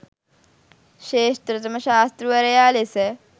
ශ්‍රේෂ්ඨතම ශාස්තෘවරයා ලෙස